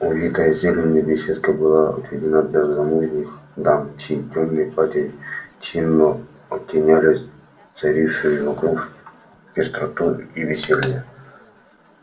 увитая зеленью беседка была отведена для замужних дам чьи тёмные платья чинно оттеняли царившую вокруг пестроту и веселье